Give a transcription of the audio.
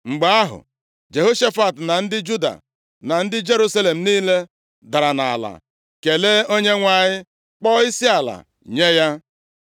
Mgbe ahụ, Jehoshafat, na ndị Juda na ndị Jerusalem niile dara nʼala kelee Onyenwe anyị, kpọọ isiala nye ya.